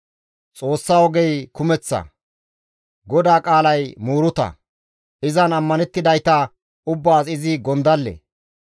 «Xoossa ogey kumeththa; GODAA qaalay muuruta; izan ammanettidayta ubbaas izi gondalle.